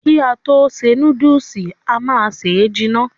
Ki a to ṣe núdùùsì, a má se jìnà.